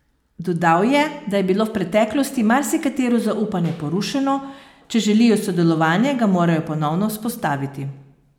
Dodal je, da je bilo v preteklosti marsikatero zaupanje porušeno, če želijo sodelovanje, ga morajo ponovno vzpostaviti.